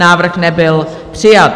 Návrh nebyl přijat.